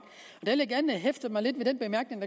vil jeg gerne hæfte mig lidt ved den bemærkning